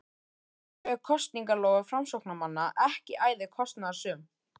En eru kosningaloforð framsóknarmanna ekki æði kostnaðarsöm?